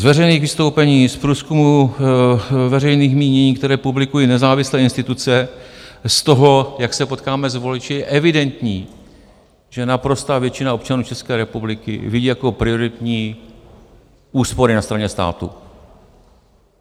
Z veřejných vystoupení, z průzkumů veřejných mínění, které publikují nezávislé instituce, z toho, jak se potkáváme s voliči, je evidentní, že naprostá většina občanů České republiky vidí jako prioritní úspory na straně státu.